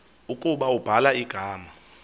ukuba ubhala igama